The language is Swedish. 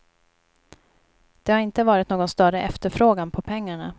Det har inte varit någon större efterfrågan på pengarna.